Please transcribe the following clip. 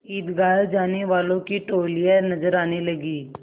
ईदगाह जाने वालों की टोलियाँ नजर आने लगीं